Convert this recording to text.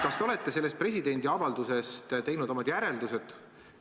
Kas te olete sellest presidendi avaldusest teinud omad järeldused?